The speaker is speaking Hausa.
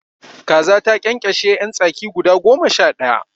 Kaza ta ƙyanƙyashe yan tsaki guda goma sha daya